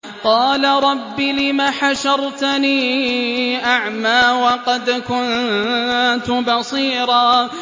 قَالَ رَبِّ لِمَ حَشَرْتَنِي أَعْمَىٰ وَقَدْ كُنتُ بَصِيرًا